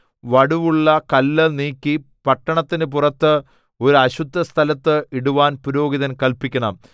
വടുവുള്ള കല്ല് നീക്കി പട്ടണത്തിന് പുറത്ത് ഒരു അശുദ്ധസ്ഥലത്ത് ഇടുവാൻ പുരോഹിതൻ കല്പിക്കണം